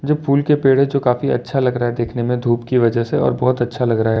जो फूल के पेड़ है जो काफी अच्छा लग रहा है देखने में धूप की वजह से और बहुत अच्छा लग रहा है।